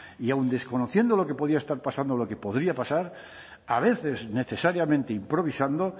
y aun desconociendo lo que podía estar pasando o lo que podría pasar a veces necesariamente improvisando